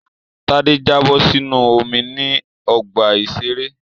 Tádé jábọ̀ sínú omi ní ọgbà-ìṣeré